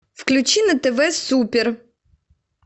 включи на тв супер